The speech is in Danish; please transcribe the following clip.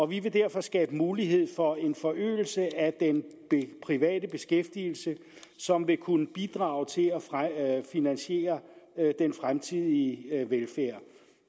vi vil derfor skabe mulighed for en forøgelse af den private beskæftigelse som vil kunne bidrage til at finansiere den fremtidige velfærd